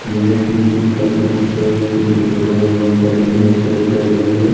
यह एक स्कूल का दृश्य है स्कूल के बगल में बहोत सारी भैंसे चर रही है।